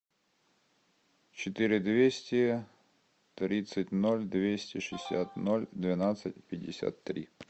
четыре двести тридцать ноль двести шестьдесят ноль двенадцать пятьдесят три